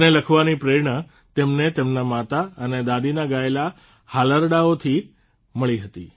તેને લખવાની પ્રેરણા તેમને તેમના માતા અને દાદીના ગાયેલા હાલરડાંઓથી મળી હતી